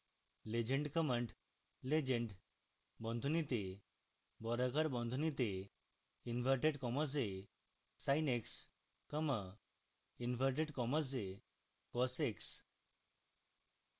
legend command legend বন্ধনীতে বর্গাকার বন্ধনীতে inverted commas এ sin x commas inverted commas এ cos x